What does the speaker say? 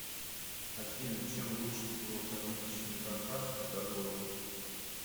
афина чем лучше всего кормить щенка хаски до года